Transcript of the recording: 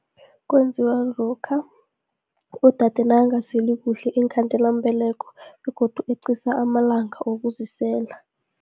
Kwenziwa lokha, udade nakangaseli kuhle iinkhandelambeleko, begodu eqisa amalanga wokuzisela.